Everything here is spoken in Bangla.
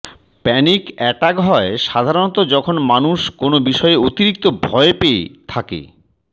প্যানিক অ্যাটাক হয় সাধারনত যখন মানুষ কোনও বিষয়ে অতিরিক্ত ভয়ে পেয়ে থাকে